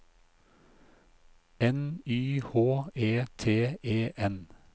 N Y H E T E N